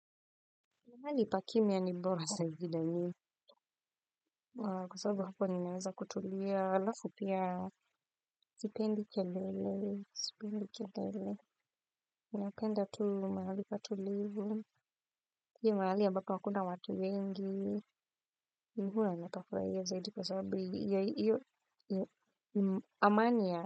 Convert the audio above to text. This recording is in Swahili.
Mahali pakimya ni bora saa zile mi kwa sababu hapo ninaweza kutulia halafu pia sipendi kelele. Mi napenda tu mahali patulivu si mahali ambapo hakuna watu wengi. Muna matakura ya zaidi kwa sababu ya iyo amani ya.